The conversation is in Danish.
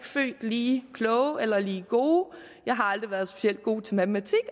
født lige kloge eller lige gode jeg har aldrig været specielt god til matematik